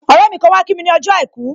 Ọrẹ mi kan wá kí mi ni ọjọ́ àìkú